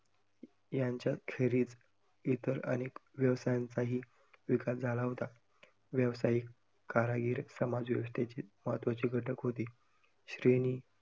यांच्या इतर अनेक व्यवसायांचाही विकास झाला होता. व्यावसायिक, कारागीर समाज व्यवस्थेचे महत्वाचे घटक होते. श्रेणी